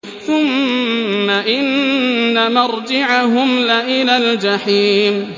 ثُمَّ إِنَّ مَرْجِعَهُمْ لَإِلَى الْجَحِيمِ